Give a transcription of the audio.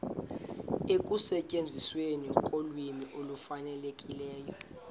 ekusetyenzisweni kolwimi olufanelekileyo